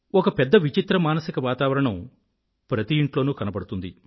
ఒక పెద్ద విచిత్ర మానసిక వాతావరణం ప్రతి ఇంట్లోనూ కనబడుతుంది